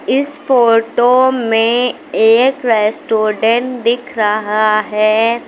इस फोटो में एक रेस्टोरेंट दिख रहा है।